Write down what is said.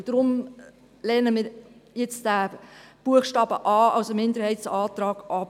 Daher lehnen wir den Minderheitsantrag zu Buchstabe a ab.